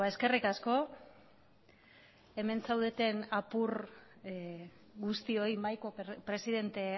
eskerrik asko hemen zaudeten apur guztioi mahaiko presidente